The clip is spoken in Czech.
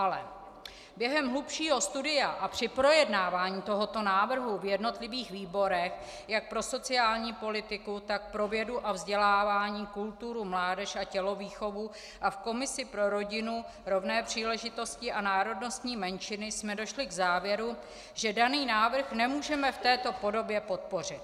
Ale během hlubšího studia a při projednávání tohoto návrhu v jednotlivých výborech, jak pro sociální politiku, tak pro vědu a vzdělávání, kulturu, mládež a tělovýchovu a v komisi pro rodinu rovné příležitosti a národnostní menšiny, jsme došli k závěru, že daný návrh nemůžeme v této podobě podpořit.